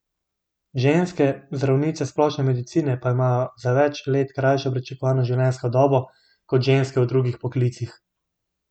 Ženske, zdravnice splošne medicine, pa imajo za več let krajšo pričakovano življenjsko dobo kot ženske v drugih poklicih.